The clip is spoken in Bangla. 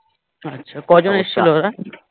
আচ্ছা কজন এসেছিল ওরা?